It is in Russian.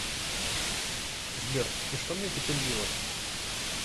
сбер и что мне теперь делать